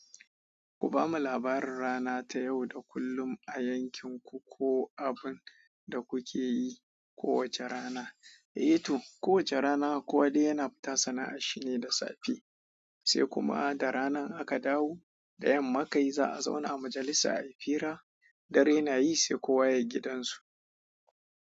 Ku bamu labarin rana ta yau da kullum a yankin ku ko abin da kuke yi kowace rana. Eh to, kowace rana kowa dai yana fita sana'a, shi ne da safe. Sai kuma da rana in aka dawo, da yamma kai za a zauna a majalisa a yi fira, dare na yi sai kowa ya yi gidan su.